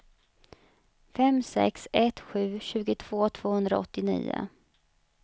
fem sex ett sju tjugotvå tvåhundraåttionio